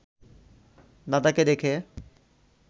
দাদাকে দেখে